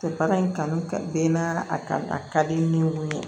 Tɛ baara in kanu ka bɛn n'a kan a ka di n ye